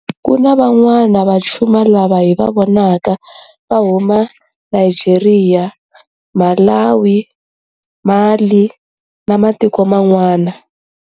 Kuna va'wana va Chuma lava hi va vonaka va huma Nigeria, Malawi, Mali na matiko ma n'wana.